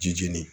Jijini